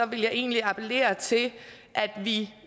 vil jeg egentlig appellere til at vi